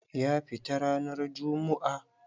Ka fita ranan jummu'a!